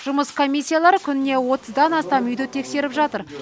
жұмыс комиссиялары күніне отыздан астам үйді тексеріп жатыр